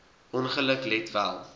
ongeluk let wel